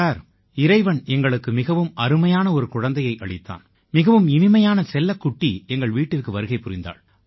sir இறைவன் எங்களுக்கு மிகவும் அருமையான ஒரு குழந்தையை அளித்தான் மிகவும் இனிமையான செல்லக்குட்டி எங்கள் வீட்டிற்கு வருகை புரிந்தாள்